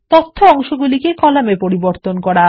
তথ্য অংশগুলিকে কলাম এ পরিবর্তন করা